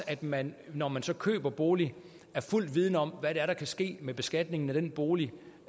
at man når man så køber en bolig er fuldt vidende om hvad der kan ske med beskatningen af den bolig